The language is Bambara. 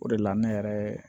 O de la ne yɛrɛ